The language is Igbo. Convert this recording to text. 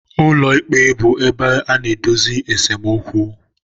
Ụlọikpe bụ ebe a na-edozi esemokwu.